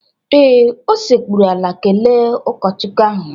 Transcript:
Ee, o sekpụrụ ala kelee ụkọchukwu ahụ